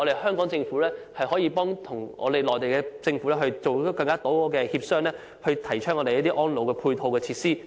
香港政府可以與內地政府多進行協商，提供一些安老配套設施。